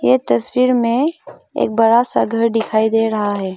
ये तस्वीर में एक बड़ा सा घर दिखाई दे रहा है।